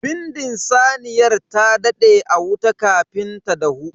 Bindin saniyar ta dade a wuta kafin ta dahu.